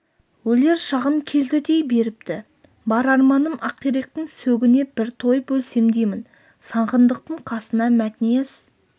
өлер шағым келді дей беріпті бар арманым ақиректің сөгіне бір тойып өлсем деймін сағындықтың қасына мәтнияз